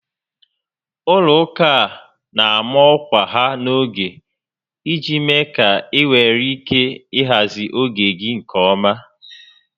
Ụlọ ụka a na ama ọkwa ha n'oge iji mee ka ị nwee ike ị hazị oge gị nke ọma